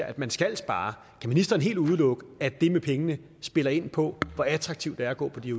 at man skal spare kan ministeren helt udelukke at det med pengene spiller ind på hvor attraktivt det er at gå på de